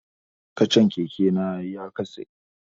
Kacan keke na ya katse